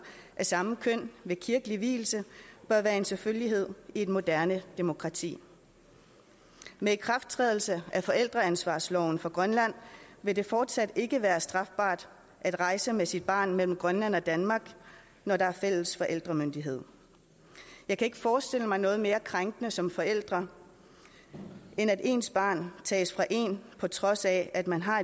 af samme køn ved kirkelig vielse bør være en selvfølgelighed i et moderne demokrati med ikrafttrædelse af forældreansvarsloven for grønland vil det fortsat ikke være strafbart at rejse med sit barn mellem grønland og danmark når der er fælles forældremyndighed jeg kan ikke forestille mig noget mere krænkende som forælder end at ens barn tages fra en på trods af at man har